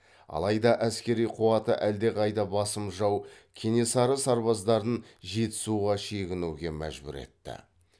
алайда әскери қуаты әлдеқайда басым жау кенесары сарбаздарын жетісуға шегінуге мәжбүр етті